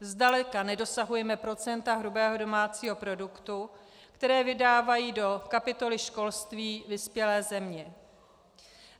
Zdaleka nedosahujeme procenta hrubého domácího produktu, které vydávají do kapitoly školství vyspělé země.